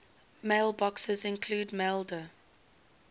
mailboxes include maildir